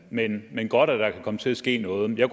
men men godt at der kan komme til at ske noget jeg